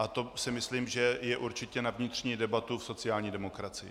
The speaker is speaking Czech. A to si myslím, že je určitě na vnitřní debatu v sociální demokracii.